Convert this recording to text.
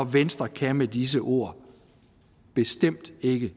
venstre kan med disse ord bestemt ikke